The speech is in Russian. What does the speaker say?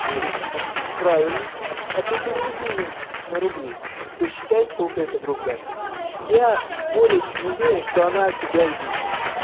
ниже правильно а ты переведи её на рубли и посчитай сколько это в рублях я более чем уверен что она тебя удивит